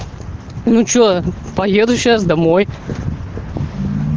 ну что поеду сейчас домой